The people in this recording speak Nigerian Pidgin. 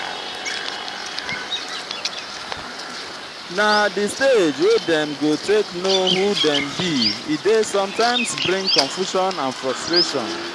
na the stage wey dem go take know who dem be e de sometimes bring confusion and frustration